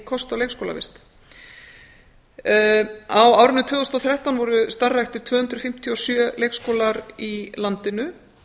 kost á leikskólavist á árinu tvö þúsund og þrettán voru starfræktir tvö hundruð fimmtíu og sjö leikskólar í landinu